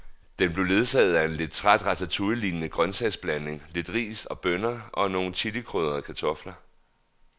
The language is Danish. Den blev ledsaget af en lidt træt ratatouillelignende grøntsagsblanding, lidt ris og bønner og nogle chilikrydrede kartofler.